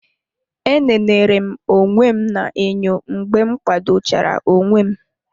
Enenere m onwe m na-enyo mgbe m kwado chara onwe m.